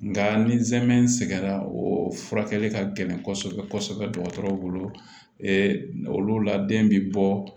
Nka ni zɛrɛn sɛgɛnna o furakɛli ka gɛlɛn kɔsɛbɛ kɔsɛbɛ dɔgɔtɔrɔw bolo la den bi bɔ